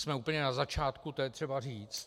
Jsme úplně na začátku, to je třeba říct.